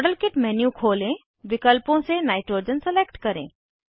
model kit menu खोलें विकल्पों से नाइट्रोजन सलेक्ट करें